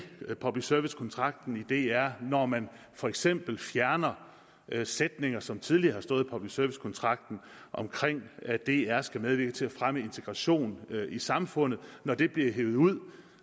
public service kontrakten for dr når man for eksempel fjerner sætninger som tidligere har stået i public service kontrakten om at dr skal medvirke til at fremme integration i samfundet når det bliver hevet ud